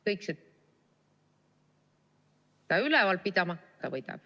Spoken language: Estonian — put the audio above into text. Kõik see ... seda üleval pidama, aga võidab.